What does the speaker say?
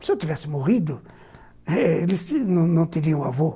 Se eu tivesse morrido, eles não teriam avô.